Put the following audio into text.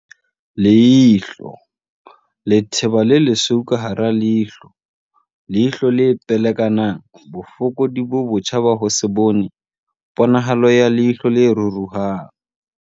Leihlo, letheba le lesweu ka hara leihlo, leihlo le pelekanang, bofokodi bo botjha ba ho se bone, ponahalo ya leihlo le ruruhang